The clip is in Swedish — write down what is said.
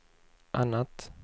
annat